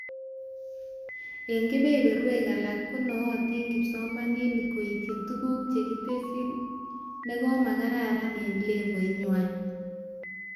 Eng kebeberwek alak, konoyaotin kipsomanink kaitin tuguk chekitesyi nekomakararan eng levoit nwai